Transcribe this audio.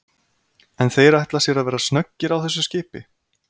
En þeir ætla sér að vera snöggir á þessu skipi?